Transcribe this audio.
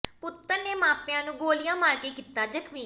ਪੁੱਤਰ ਨੇ ਮਾਪਿਆਂ ਨੂੰ ਗੋਲੀਆਂ ਮਾਰ ਕੇ ਕੀਤਾ ਜ਼ਖ਼ਮੀ